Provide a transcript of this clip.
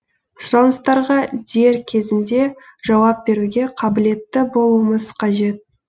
сұраныстарға дер кезінде жауап беруге қабілетті болуымыз қажет